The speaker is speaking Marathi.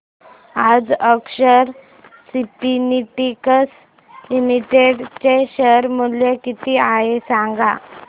आज अक्षर स्पिनटेक्स लिमिटेड चे शेअर मूल्य किती आहे सांगा